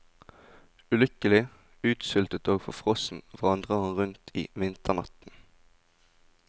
Ulykkelig, utsultet og forfrossen vandrer han rundt i vinternatten.